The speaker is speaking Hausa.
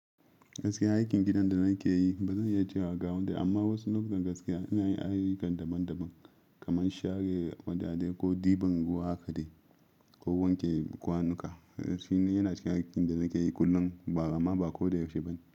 Gaskiya aikin gidan da nake yi ba zan iya cewa gawanda, amma wasu lokutan gaskiya ina yin ayyukan daban-daban kamar share wadadai ko ɗiban ruwa haka dai, ko wanke kwanuka. Shi yana cikin aikin da nake yi kullum ba amma ba ko da yaushe bane.